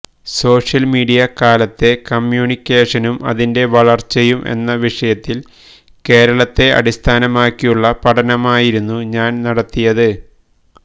social media കാലത്തെ കമ്മ്യൂണിക്കേഷനും അതിന്റെ വളര്ച്ചയും എന്ന വിഷയത്തില് കേരളത്തെ അടിസ്ഥാനമാക്കിയുള്ള പഠനമായിരുന്നു ഞാന് നടത്തിയത്